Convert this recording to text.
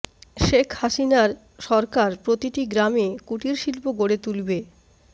শেখ হাসিনার সরকার প্রতিটি গ্রামে কুটির শিল্প গড়ে তুলবে